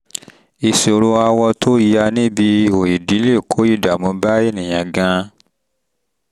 ìṣòro awọ tó ya níbi ihò ìdí lè kó ìdààmú bá ènìyàn gan-an